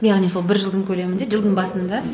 яғни сол бір жылдың көлемінде жылдың басында